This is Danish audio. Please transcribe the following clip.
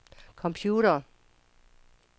computere